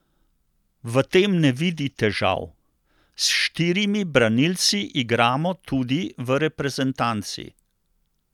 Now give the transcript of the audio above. V tem ne vidi težav: "S štirimi branilci igramo tudi v reprezentanci.